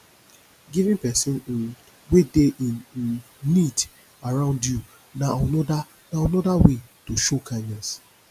giving persin um wey de in um need around you na another na another way to show kindness